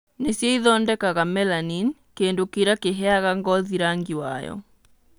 Nĩcio ĩthondekaga melanin, kĩndũ kĩrĩa kĩheaga ngothi rangi wayo.